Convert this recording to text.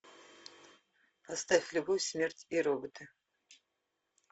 поставь любовь смерть и роботы